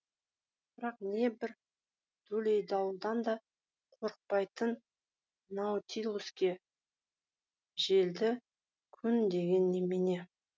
бірақ не бір дүлей дауылдан да қорықпайтын наутилуске желді күн деген немене